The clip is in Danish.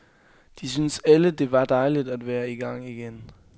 De syntes alle det var dejligt at være i gang igen.